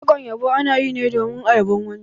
Wakar yabo ana yi ne domin a yabon wani.